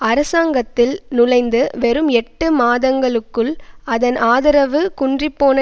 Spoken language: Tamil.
அரசாங்கத்தில் நுளைந்து வெறும் எட்டு மாதங்களுக்குள் அதன் ஆதரவு குன்றிப்போன